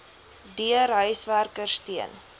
deur huiswerkers teen